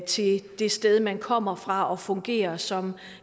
til det sted man kommer fra og fungere som